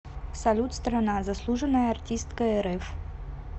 салют страна заслуженная артистка рф